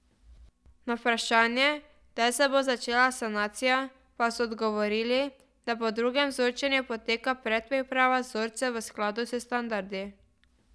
Na vprašanje, kdaj se bo začela sanacija, pa so odgovorili, da po drugem vzorčenju poteka predpriprava vzorcev v skladu s standardi.